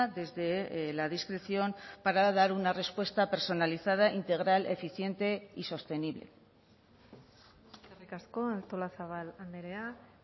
desde la discreción para dar una respuesta personalizada integral eficiente y sostenible eskerrik asko artolazabal andrea